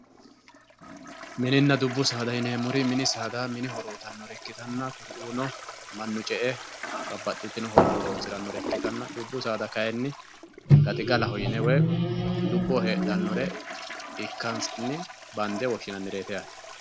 mininna dubbu saada yineemori mini saada mini horo uyiitannore ikkitanna hakkuno mannu ce"e babbaxitino horora horonsirannore ikkitanna dubbu saada kayiini gaxigalaho yine woy dubboo hedhannore ikkansanni bande woshshinnannireeti yaate.